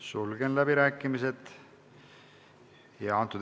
Sulgen läbirääkimised.